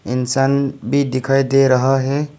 इंसान भी दिखाई दे रहा है।